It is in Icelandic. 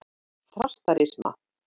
Þrastarima